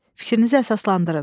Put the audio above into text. Fikrinizi əsaslandırın.